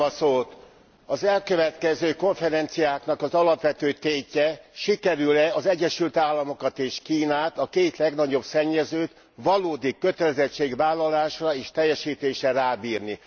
Köszönöm a szót. Az elkövetkezendő konferenciáknak az alapvető tétje sikerül e az Egyesült Államokat és Kínát, a két legnagyobb szennyezőt valódi kötelezettségvállalásra és teljesítésre rábírni.